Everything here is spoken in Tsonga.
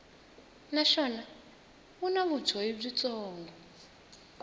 naswona wu na vumbhoni byitsongo